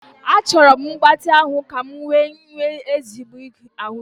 Achọrọ m mgbatị ahụ ka m wee nwee ezigbo ahụike